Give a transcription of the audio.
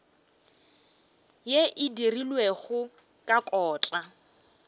yeo e dirilwego ka kota